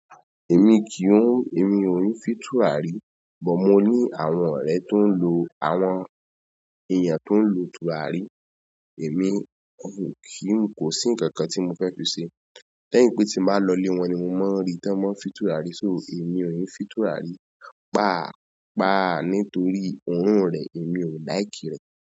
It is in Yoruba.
Èmi kì í, èmi ò n fì turarí, but mo ní àwọn ọ̀rẹ́ tó ń lo, àwọn èèyàn tó ń lo turarí. Èmi kò kí n, kò sí ǹkankan tí mo fẹ́ fi ṣe. Lẹ́yìn pé tí ba lọ ilé wọn ni mo máa ń rí tí wọ́n máa ń fìn turarí. So èmi ò n fì turarí. Páa, páa nítorí òórùn rẹ̀, èmi ò like rẹ̀.